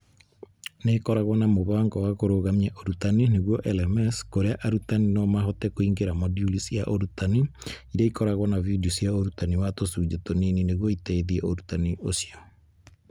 Nĩ ĩkoragwo na mũbango wa kũrũgamia ũrutani (LMS) kũrĩa arutani no mahote kũingĩra moduli cia ũrutani iria ikoragwo na video cia ũrutani wa tũcunjĩ tũnini nĩguo iteithie ũrutani ũcio.